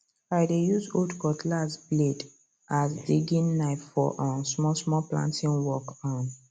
i dey use old cutlass blade as digging knife for um small small planting work um